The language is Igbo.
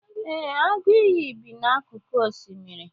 ee, agụ iyi bi n'akụkụ osimiri